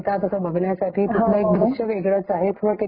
अच्छा . ठीक आहे न थँक यु आ .